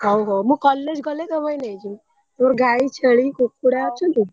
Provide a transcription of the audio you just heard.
ହଉ ହଉ ମୁଁ college ଗଲେ ତୋ ପାଇଁ ନେଇଯିବି ତୋର ଗାଈ ଛେଳି କୁକୁଡ଼ା ହଉ ଅଛନ୍ତି?